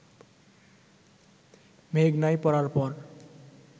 মেঘনায় পড়ার পর